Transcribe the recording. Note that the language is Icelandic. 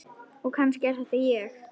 Og kannski er þetta ég.